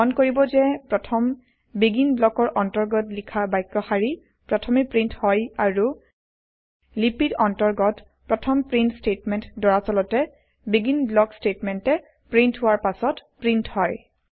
মন কৰিব যে প্ৰথম বেগিন ব্লকৰ অন্তৰ্গত লিখা বাক্য শাৰী প্ৰথমে প্ৰীন্ট হয় আৰু লিপিৰ অন্তৰ্গত প্ৰথম প্ৰীন্ট স্তেটমেন্ট দৰাচলতে বেগিন ব্লক স্তেটমেন্টে প্ৰীন্ট হোৱাৰ পাছত প্ৰীন্ট হয়